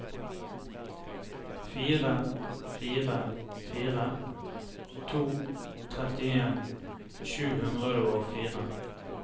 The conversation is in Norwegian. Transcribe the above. fire fire fire to trettien sju hundre og fire